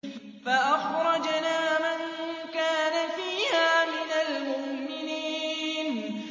فَأَخْرَجْنَا مَن كَانَ فِيهَا مِنَ الْمُؤْمِنِينَ